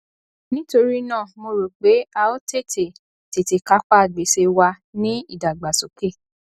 nítorí náà mo rò pé a ó tètè tètè kápá gbèsè wa ní ìdàgbàsókè